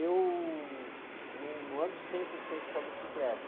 Eu num, não ando cem por cento com a bicicleta.